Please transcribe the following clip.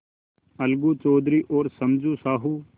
अलगू चौधरी और समझू साहु